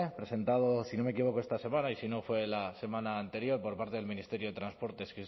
presentado si no me equivoco esta semana y si no fue la semana anterior por parte del ministerio de transportes